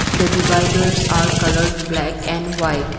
the dividers are colored black and white.